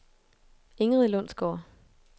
Ingrid Lundsgaard